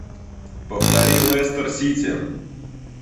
повтори лестер сити